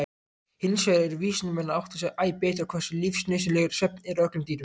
Hinsvegar eru vísindamenn að átta sig æ betur á hversu lífsnauðsynlegur svefn er öllum dýrum.